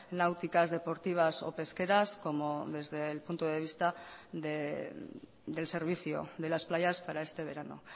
náuticas deportivas o pesqueras como desde el punto de vista del servicio de las playas para este verano